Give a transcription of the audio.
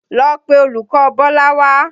Lọ pe olùkọ̀ Bọ́lá wá!